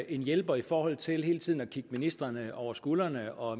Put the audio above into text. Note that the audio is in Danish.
en hjælper i forhold til hele tiden at kigge ministrene over skulderen og